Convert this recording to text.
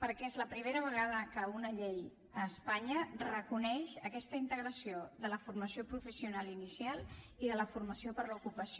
perquè és la primera vegada que una llei a espanya reconeix aquesta integració de la formació professional inicial i de la formació per a l’ocupació